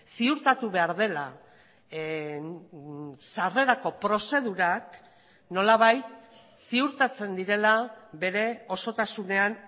ziurtatu behar dela sarrerako prozedurak nolabait ziurtatzen direla bere osotasunean